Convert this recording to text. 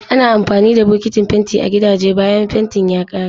Ana amfani da bokitin fenti a gidaje bayan fentin ya kare.